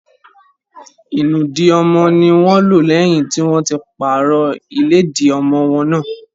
Ìnùdí ọmọ ní wọ́n lò lẹ́yìn tí wọ́n ti pàrọ̀ ìlẹ́dì ọmọwọ́ náà.